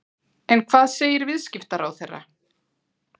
En hvað segir viðskiptaráðherra?